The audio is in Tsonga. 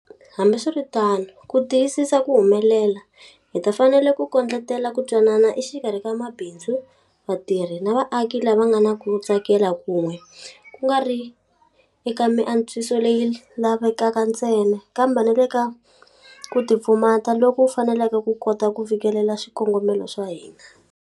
Hambiswiritano, ku tiyisisa ku humelela, hi ta fanele ku kondletela ku twanana exikarhi ka mabindzu, vatirhi na vaaki lava nga na ku tsakela kun'we, ku nga ri eka miantswiso leyi lavekaka ntsena, kambe na le ka ku tipfumata loku faneleke ku kota ku fikelela swikongomelo swa hina.